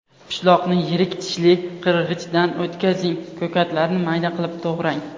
Pishloqni yirik tishli qirg‘ichdan o‘tkazing, ko‘katlarni mayda qilib to‘g‘rang.